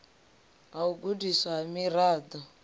ha u gudiswa ha miraḓo